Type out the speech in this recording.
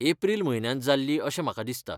एप्रील म्हयन्यांत जाल्ली अशें म्हाका दिसता.